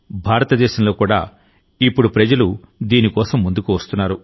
భారతదేశంలో కూడా ఇప్పుడు ప్రజలు దీని కోసం ముందుకు వస్తున్నారు